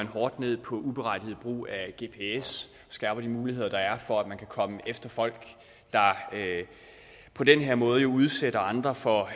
hårdt ned på uberettiget brug af gps skærper de muligheder der er for at man kan komme efter folk der på den her måde udsætter andre for